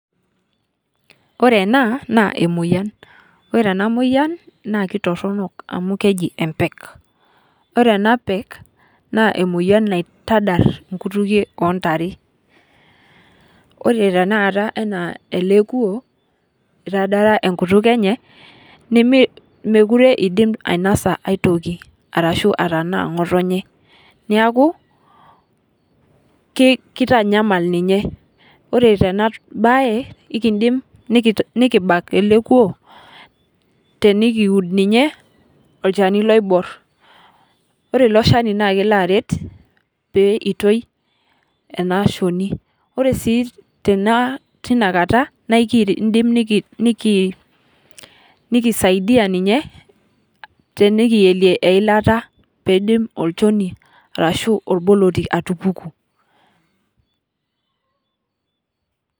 Ore ena naa emoyian ,ore ena moyian naa kitoronok amu keji empek ,ore ena pek naa emoyian naitadar inkutukie oontare ,ore tenakata enaa ele kulo etaradara enkutuk enye nemookure eidim ainosa aitoki orashu atanaa ngotonye neeku keitanyamal ninye ,ore tena bae ,nebaiki nikibak ele kulo tenikiud olchani loibor ,ore ilo shani naa kelo aret aitoki ena shoni ,ore sii tenakata naa ekindimi nikisaidia ninye naa tenikiyelie eilata pee etumoki orboloti atupuku .